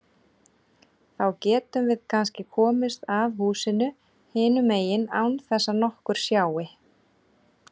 Þá getum við kannski komist að húsinu hinum megin án þess að nokkur sjái.